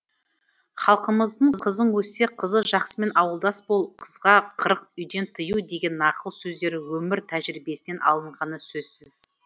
халқымыздың қызың өссе қызы жақсымен ауылдас бол қызға қырық үйден тыю деген нақыл сөздері өмір тәжірибесінен алынғаны сөзсіз